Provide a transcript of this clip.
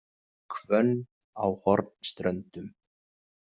Hvönn á Hornströndum